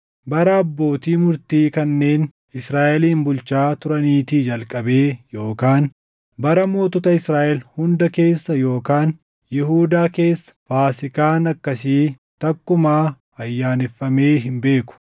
Bara abbootii murtii kanneen Israaʼelin bulchaa turaniitii jalqabee yookaan bara mootota Israaʼel hunda keessa yookaan Yihuudaa keessa Faasiikaan akkasii takkumaa ayyaaneffamee hin beeku.